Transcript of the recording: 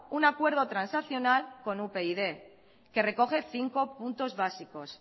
un acuerdo transaccional con upyd que recoge cinco puntos básicos